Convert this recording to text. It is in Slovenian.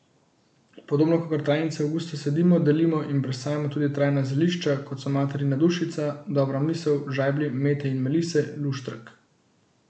Podobno kakor trajnice avgusta sadimo, delimo in presajamo tudi trajna zelišča, kot so materina dušica, dobra misel, žajblji, mete in melise, luštrek.